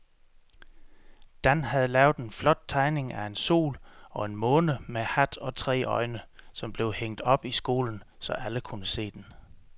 Dan havde lavet en flot tegning af en sol og en måne med hat og tre øjne, som blev hængt op i skolen, så alle kunne se den.